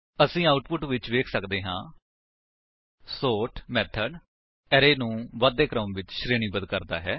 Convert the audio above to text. ਅਸੀ ਆਉਟਪੁਟ ਵਿੱਚ ਵੇਖ ਸੱਕਦੇ ਹਾਂ ਸੋਰਟ ਮੇਥਡ ਅਰੇ ਨੂੰ ਵਧਦੇ ਕ੍ਰਮ ਵਿੱਚ ਸ਼ਰੇਣੀਬੱਧ ਕਰਦਾ ਹੈ